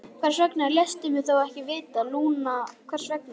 Hvers vegna léstu mig þá ekki vita, Lúna, hvers vegna?